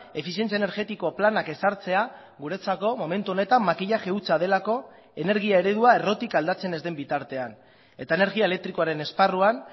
efizientzia energetiko planak ezartzea guretzako momentu honetan makillaje hutsa delako energia eredua errotik aldatzen ez den bitartean eta energia elektrikoaren esparruan